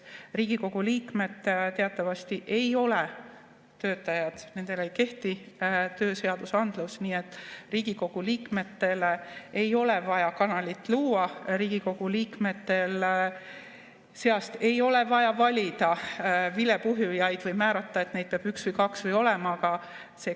Riigikogu liikmed teatavasti ei ole töötajad, nendele ei kehti tööseadusandlus, nii et Riigikogu liikmetele ei ole vaja kanalit luua, Riigikogu liikmete seast ei ole vaja valida vilepuhujaid või määrata, et neid peab olema üks või kaks.